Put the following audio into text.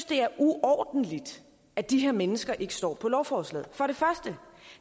det er uordentligt at de her mennesker ikke står på lovforslaget for